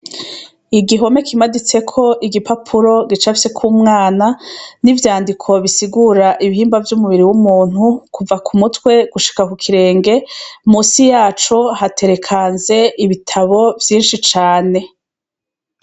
Igihome kimaditseko igipapuro gicafyeko umwana n'ivyandiko bisigura ibihimba vyumubiri w'umuntu kuva k'umutwe gushika kukirenge musi yaco hatereka ibitabo vyinshi cane.